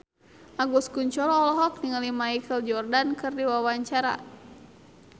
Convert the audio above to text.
Agus Kuncoro olohok ningali Michael Jordan keur diwawancara